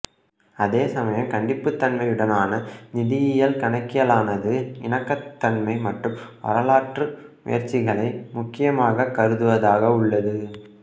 அதே சம்யம் கண்டிப்புத்தன்மையுடனான நிதியியல் கணக்கியலானது இணக்கத்தன்மை மற்றும் வரலாற்று முயற்சிகளை முக்கியமாகக் கருதுவதாக உள்ளது